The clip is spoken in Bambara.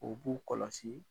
O b'u kɔlɔsi